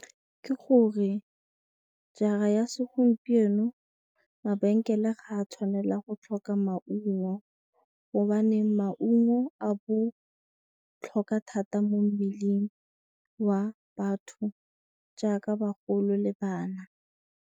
Ke gore jara ya segompieno mabenkele ga a tshwanela go tlhoka maungo gobane maungo a botlhokwa thata mo mmeleng wa batho jaaka bagolo le bana.